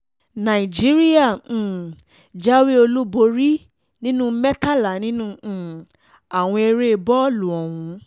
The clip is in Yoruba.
nàìjíríà um jáwé olúborí nínú mẹ́tàlá nínú um àwọn eré bọ́ọ̀lù ọ̀hún